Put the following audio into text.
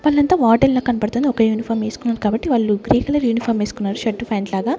వాళ్లంతా వార్డెన్ లా కనపడుతుంది ఒక యూనిఫామ్ వేసుకున్నారు కాబట్టి వాళ్లు గ్రే కలర్ యూనిఫామ్ వేసుకున్నారు షర్టు ప్యాంటు లాగా.